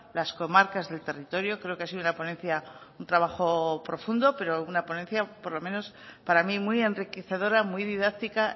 las comarcas del territorio creo que ha sido una ponencia un trabajo profundo pero una ponencia por lo menos para mí muy enriquecedora muy didáctica